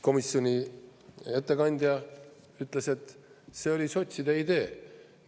Komisjoni ettekandja ütles, et see oli sotside idee.